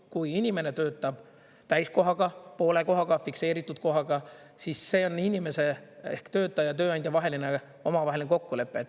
Kui inimene töötab täiskohaga, poole kohaga, fikseeritud kohaga, siis see on inimese ehk töötaja ja tööandja vaheline omavaheline kokkulepe.